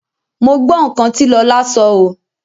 Mo gbọ́ nǹkan tí Lọlá sọ oo.